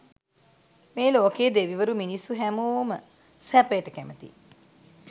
මේ ලෝකයේ දෙවිවරු මිනිස්සු හැමෝම සැපයට කැමතියි